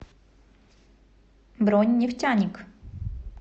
бронь нефтяник